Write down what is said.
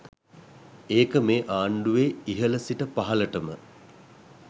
ඒක මේ ආණ්ඩුවේ ඉහල සිට පහලටම.